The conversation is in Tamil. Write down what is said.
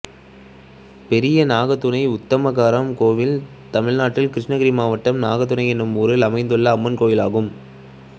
பெரிய நாகதுனை உத்தம கரகம் கோயில் தமிழ்நாட்டில் கிருஷ்ணகிரி மாவட்டம் பெரிய நாகதுனை என்னும் ஊரில் அமைந்துள்ள அம்மன் கோயிலாகும்